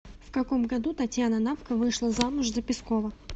в каком году татьяна навка вышла замуж за пескова